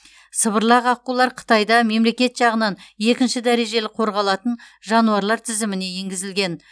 сыбырлақ аққулар қытайда мемлекет жағынан екінші дәрежелі қорғалатын жануарлар тізіміне енгізілген